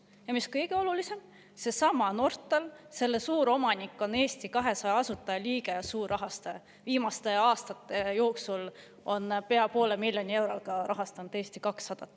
Ja mis kõige olulisem, sellesama Nortali suuromanik, Eesti 200 asutajaliige ja suurrahastaja, on viimaste aastate jooksul pea poole miljoni euroga rahastanud Eesti 200.